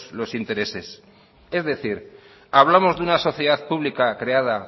los intereses es decir hablamos de sociedad pública creada